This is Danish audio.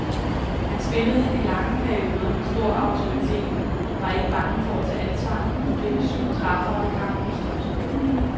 Han spillede i lange perioder med stor autoritet, var ikke bange for at tage ansvar og blev med syv træffere kampens topscorer.